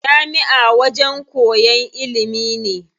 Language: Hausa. Jami'a wajen koyan ilimi ne.